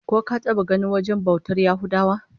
Ko ka taba ganin wajen bautar Yahudawa?